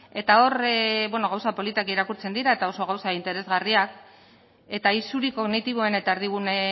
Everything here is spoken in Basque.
eta hor gauza politak irakurtzen dira eta oso gauza interesgarriak eta isuri kognitiboen eta erdigune